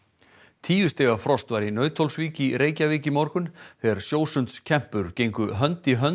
tíu stiga frost var í Nauthólsvík í Reykjavík í morgun þegar gengu hönd í hönd